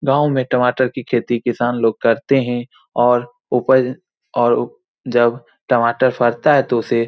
गांव में टमाटर की खेती किसान लोग करते है और उपज और जब टमाटर फड़ता है तो उसे --